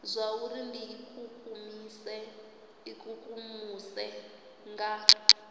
zwauri ri ikukumuse ikukumusa nga